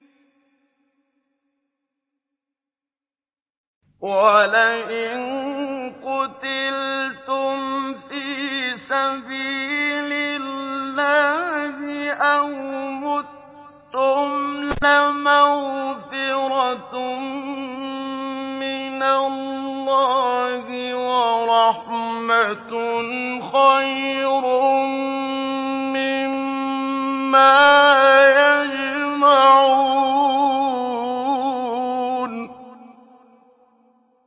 وَلَئِن قُتِلْتُمْ فِي سَبِيلِ اللَّهِ أَوْ مُتُّمْ لَمَغْفِرَةٌ مِّنَ اللَّهِ وَرَحْمَةٌ خَيْرٌ مِّمَّا يَجْمَعُونَ